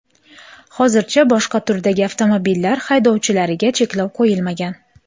Hozircha boshqa turdagi avtomobillar haydovchilariga cheklov qo‘yilmagan.